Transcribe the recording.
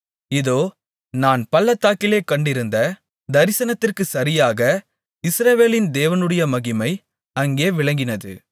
இதோ நான் பள்ளத்தாக்கிலே கண்டிருந்த தரிசனத்திற்குச் சரியாக இஸ்ரவேலின் தேவனுடைய மகிமை அங்கே விளங்கினது